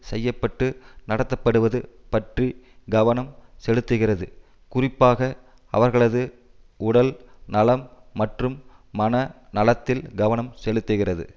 செய்ய பட்டு நடத்தப்படுவது பற்றி கவனம் செலுத்துகிறது குறிப்பாக அவர்களது உடல் நலம் மற்றும் மன நலத்தில் கவனம் செலுத்துகிறது